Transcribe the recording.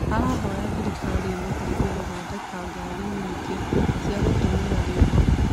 Arahoya thirikari ĩmũteithie kũthondeka ngari nyingĩ ciagũtũmĩra riũa